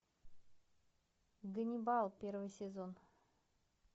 ганнибал первый сезон